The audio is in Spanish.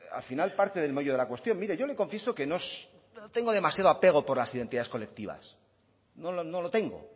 al final parte del meollo de la cuestión mire yo le confieso que no tengo demasiado apego por las identidades colectivas no lo tengo